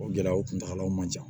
O gɛlɛyaw kuntagalaw man ca